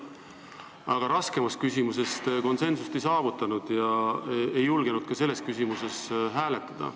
Aga raskemas küsimuses te konsensust ei saavutanud ega julgenud ka selles küsimuses hääletada.